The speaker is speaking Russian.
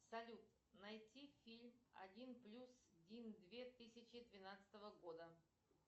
салют найти фильм один плюс один две тысячи двенадцатого года